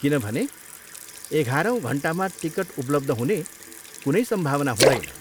किनभने, एघारौँ घन्टामा टिकट उपलब्ध हुने कुनै सम्भावना हुँदैन।